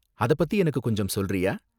அதப்பத்தி எனக்கு கொஞ்சம் சொல்றியா?